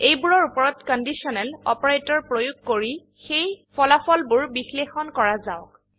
এইবোৰৰ ওপৰত conditional operator প্ৰয়োগ কৰি সেই ফলাফলবোৰ বিশ্লেষণ কৰা যাওক